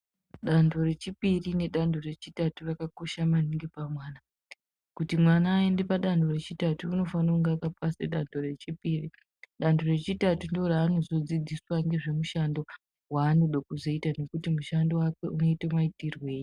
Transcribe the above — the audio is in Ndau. Dando rechipiri nedando rechitatu rakakosha maningi pamwana. Kuti mwana aende padando rechitatu unofane kunge akapase dando rechipiri. Dando rechitatu ndooranodzidziswa ngezvemushando waanode kuzoita nekuti mushando wacho unoite maitirwei.